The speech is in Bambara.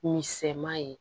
Misɛnman ye